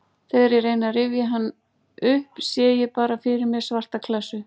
Þegar ég reyni að rifja hann upp sé ég bara fyrir mér svarta klessu.